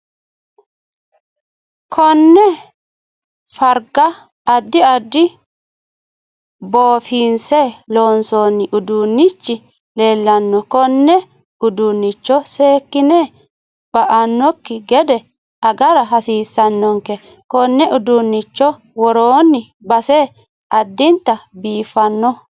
Koone farga addi addi boofinse loonsooni udiinichi leelanno kone uduunicho seekine ba'nokki gede agara hasiisanonke konne uduunicho worooni base addinta biifanno